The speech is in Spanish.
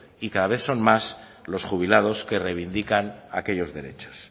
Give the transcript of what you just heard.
y cado vez son más los jubilados que reivindican aquellos derechos